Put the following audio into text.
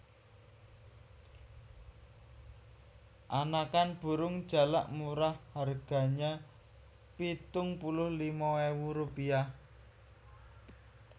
Anakan burung jalak murah harganya pitung puluh lima ewu rupiah